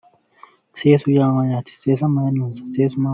Seesu yaa Mayyaate seesa mayinni loonsayi?